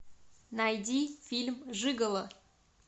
найди фильм жиголо